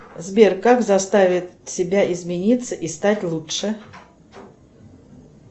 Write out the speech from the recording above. сбер как заставить себя измениться и стать лучше